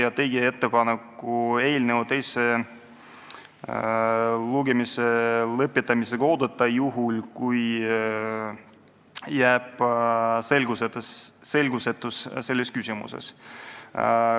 Me tegime ettepaneku eelnõu teise lugemise lõpetamisega oodata, kui selles küsimuses jääb selgusetus püsima.